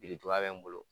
Biriduga bɛ n bolo